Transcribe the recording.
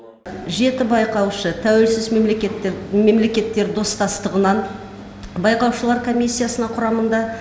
жеті байқаушы тәуелсіз мемлекеттік мемлекеттер достастығынан байқаушылар комиссиясына құрамында